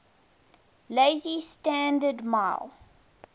lazy standard ml